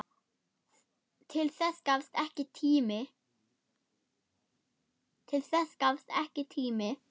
Til þess gafst ekki tími.